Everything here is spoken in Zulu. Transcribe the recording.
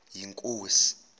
yinkosi